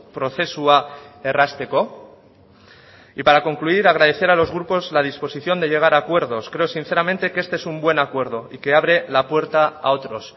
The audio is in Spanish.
prozesua errazteko y para concluir agradecer a los grupos la disposición de llegar a acuerdos creo sinceramente que este es un buen acuerdo y que abre la puerta a otros